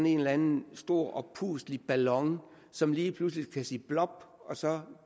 en eller anden stor oppustelig ballon som lige pludselig kan sige blob og så